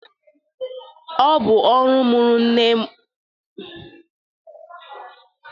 Ọbụ ọrụ nne mụrụ nwaanyị ije leta nwa ya nwaanyị mụrụ nwa ọmụgwọ.